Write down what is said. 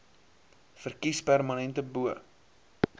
verkies permanente bo